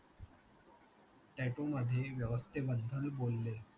tatoo मध्ये व्यवस्ते बदल बोलले